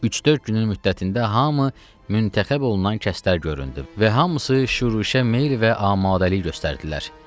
Üç-dörd günün müddətində hamı müntəxəb olunan kəslər göründü və hamısı şüruşə meyl və amadəlik göstərdilər.